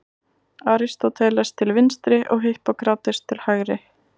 Aristóteles til vinstri og Hippókrates til hægri.